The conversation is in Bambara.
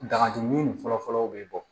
Dagaju min fɔlɔ fɔlɔ o bɛ bɔ